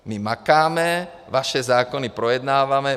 My makáme, vaše zákony projednáváme.